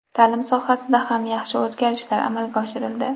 Ta’lim sohasida ham yaxshi o‘zgarishlar amalga oshirildi.